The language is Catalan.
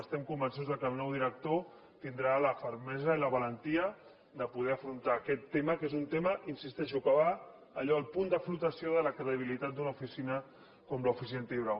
estem convençuts que el nou director tindrà la fermesa i la valentia de poder afrontar aquest tema que és un tema hi insisteixo que va a allò al punt de flotació de la credibilitat d’una oficina com l’oficina antifrau